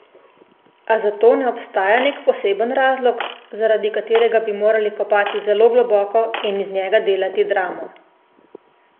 A za to ne obstaja nek poseben razlog, zaradi katerega bi morali kopati zelo globoko in iz njega delati dramo.